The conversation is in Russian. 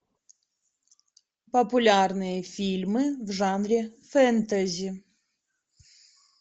популярные фильмы в жанре фэнтези